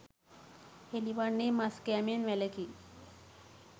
හෙළිවන්නේ මස් කෑමෙන් වැළකී